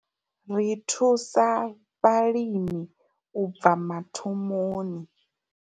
Ri thusa vhalimi u tou bva mathomoni.